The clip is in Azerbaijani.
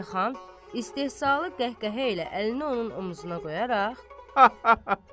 Elxan istehzalı qəhqəhə ilə əlini onun omzuna qoyaraq: